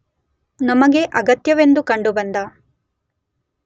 ನಮಗೆ ಅಗತ್ಯವೆಂದು ಕಂಡುಬಂದ